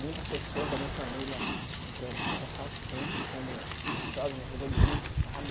Muitas pessoas da minha família, em que eu ressalto sempre, como minha sogra me ajudou muito, sabe?